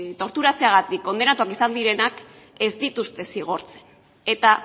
torturatzeagatik kondenatuak izan direnak ez dituzte zigortzen eta